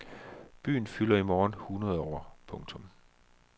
Byen fylder i morgen hundrede år. punktum